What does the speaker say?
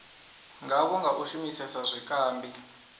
ngavho nga u shumisesa zwikambi